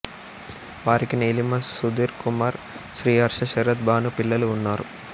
వారికి నీలిమ సుధీర్ కుమార్ శ్రీహర్ష శరత్ భాను పిల్లలు ఉన్నారు